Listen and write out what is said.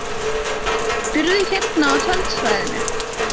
Býrðu hérna á tjaldsvæðinu?